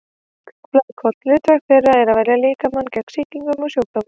Hvít blóðkorn: hlutverk þeirra er að verja líkamann gegn sýkingum og sjúkdómum.